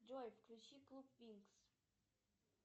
джой включи клуб винкс